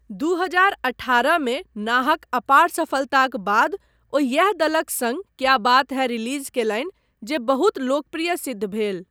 दू हजार अठारहमे नाहक अपार सफलताक बाद ओ यैह दलक सङ्ग 'क्या बात है' रिलीज़ कयलनि जे बहुत लोकप्रिय सिद्ध भेल।